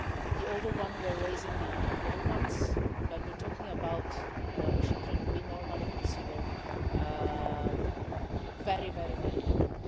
The older ones were raising the little ones, but we are talking about children we normally consider very, very, very little.